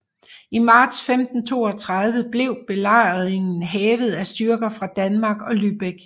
I marts 1532 blev belejringen hævet af styrker fra Danmark og Lübeck